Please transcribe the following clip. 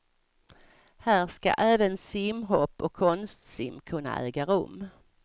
Här ska även simhopp och konstsim kunna äga rum.